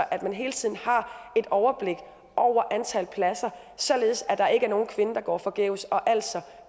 at man hele tiden har et overblik over antal pladser således at der ikke er nogen kvinde der går forgæves og altså